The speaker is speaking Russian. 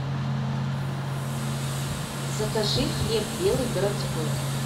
закажи хлеб белый городской